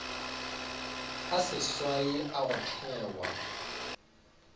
a seswai a go thewa